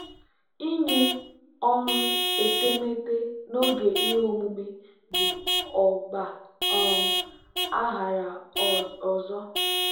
ịnye ọrụ etemeete n'oge ihe omume bụ ọgba um aghara ọzọ.